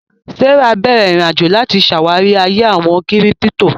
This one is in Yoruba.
Sarah bẹ̀rẹ̀ ìrìn-àjò láti ṣàwárí ayé àwọn kírípítò